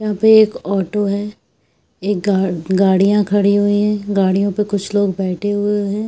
यहाँ पे एक ऑटो है एक गाड़ी गाड़िया खड़ी हुई है गाडियों पे कुछ लोग खड़े हुए है।